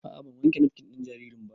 A'a ban wanke nafkin ɗin jaririn ba